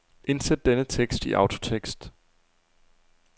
Indsæt denne tekst i autotekst.